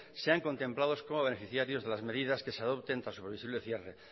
sean contemplados como beneficiarios de las medidas que se adopten tras su previsible cierre